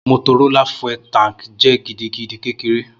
Motorola fuel tank jẹ gidigidi kekere.